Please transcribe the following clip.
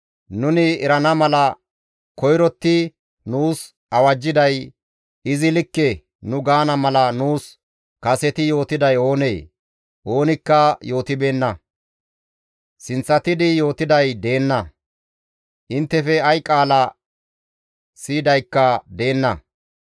Nuni erana mala koyrotti nuus awajjiday, ‹Izi likke› nu gaana mala nuus kaseti yootiday oonee? Oonikka yootibeenna; sinththatidi yootiday deenna; inttefe ay qaala siyidaykka deenna.